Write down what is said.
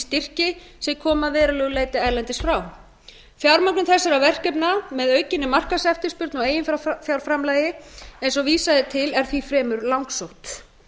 styrki sem koma að verulegu leyti erlendis frá fjármögnun þessara verkefna með aukinni markaðseftirspurn og eiginfjárframlagi eins og vísað er til er því fremur langsótt